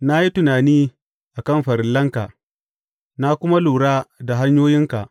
Na yi tunani a kan farillanka na kuma lura da hanyoyinka.